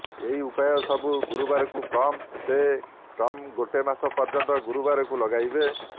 ଏହି ଉପାୟ ସବୁ ଗୁରୁବାରକୁ କମ୍ ସେ କମ୍ ଗୋଟେ ମାସ ପର୍ଯ୍ୟନ୍ତ ଗୁରୁବାରକୁ ଲଗାଇବେ